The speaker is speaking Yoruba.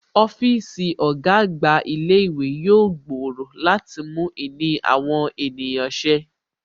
Ọ́fíìsì ọ̀gá àgbà ilé ìwé yóò gbòòrò láti mú ìní àwọn ènìyàn ṣe